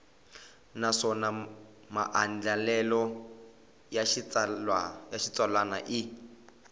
naswona maandlalelo ya xitsalwana i